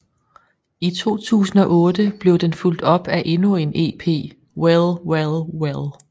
I 2008 blev den fulg top af endnu en EP Well Well Well